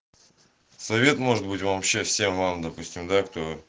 совет может быть вам счастья вам допустим да